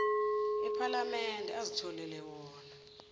ephalamende azitholele wona